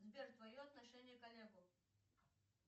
сбер твое отношение к олегу